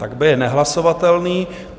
Tak B je nehlasovatelný.